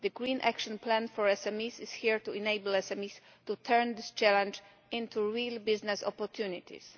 The Green Action Plan for SMEs is intended to enable SMEs to turn this challenge into real business opportunities.